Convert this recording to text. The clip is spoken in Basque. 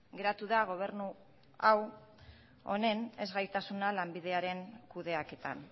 geratu da gobernu honen ezgaitasuna lanbideren kudeaketan